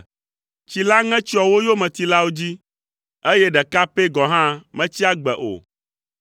Tsi la ŋe tsyɔ wo yometilawo dzi, eye ɖeka pɛ gɔ̃ hã metsi agbe o.